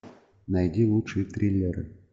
найди лучшие триллеры